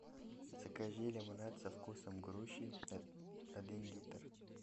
закажи лимонад со вкусом груши один литр